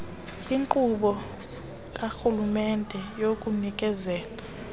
inkqubo karhulumente yokunikezela